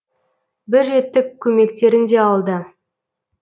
бір реттік көмектерін де алды